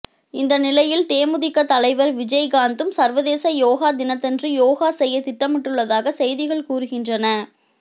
இந்த நிலையில் தேமுதிக தலைவர் விஜயகாந்ததும் சர்வதேச யோகா தினத்தன்று யோகா செய்யத் திட்டமிட்டுள்ளதாக செய்திகள் கூறுகின்றன